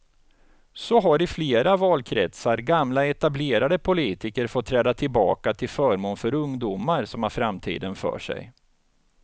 Så har i flera valkretsar gamla etablerade politiker fått träda tillbaka till förmån för ungdomar som har framtiden för sig.